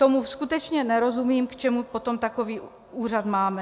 Tomu skutečně nerozumím, k čemu potom takový úřad máme.